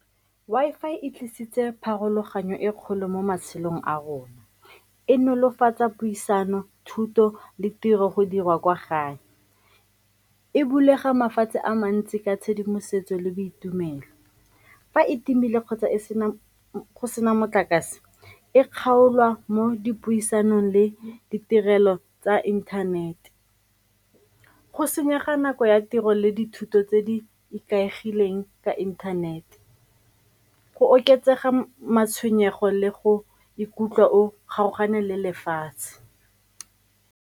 Wi-Fi e tlisitse pharologanyo e kgolo mo matshelong a rona, e nolofatsa puisano thuto le tiro go dirwa kwa gae. E bulege mafatshe a mantsi ka tshedimosetso le boitumelo. Fa e timile kgotsa e sena motlakase, e kgaolwa mo dipuisanong le ditirelo tsa inthanete, go senyega nako ya tiro le dithuto tse di ikaegileng ka inthanete, go oketsega matshwenyego le go ikutlwa o kgaogane le lefatshe.